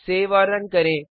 save और run करें